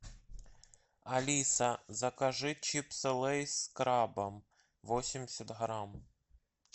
алиса закажи чипсы лейс с крабом восемьдесят грамм